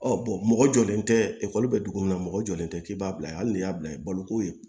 Ɔ mɔgɔ jɔlen tɛ ekɔli bɛ dugu min na mɔgɔ jɔlen tɛ k'i b'a bila ye hali ni y'a bila i baloko ye